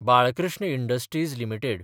Balkrishna industries limited